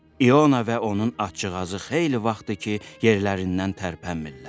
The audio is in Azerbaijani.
İona və onun atçığazı xeyli vaxtdır ki, yerlərindən tərpənmirlər.